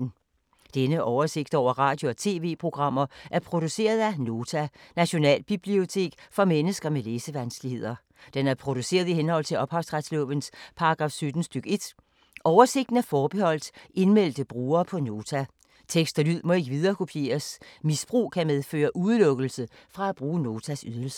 Denne oversigt over radio og TV-programmer er produceret af Nota, Nationalbibliotek for mennesker med læsevanskeligheder. Den er produceret i henhold til ophavsretslovens paragraf 17 stk. 1. Oversigten er forbeholdt indmeldte brugere på Nota. Tekst og lyd må ikke viderekopieres. Misbrug kan medføre udelukkelse fra at bruge Notas ydelser.